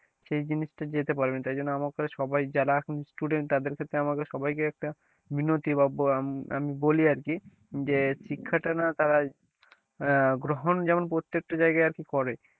সেই জিনিসটা যেতে পারবি না তার জন্য আমার কাছে সবাই যারা এখন student তাদের ক্ষেত্রে আমাকে সবাইকে একটা বিনতি বা আমি বলি আর কি যে শিক্ষাটা না তারা আহ গ্রহণ যেমন প্রত্যেকটা জায়গায় আর কি করে,